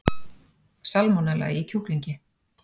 Salmonella í kjúklingi